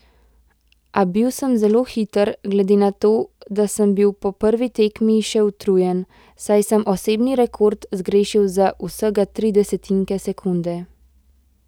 A bil sem zelo hiter, glede na to, da sem bil po prvi tekmi še utrujen, saj sem osebni rekord zgrešil za vsega tri desetinke sekunde.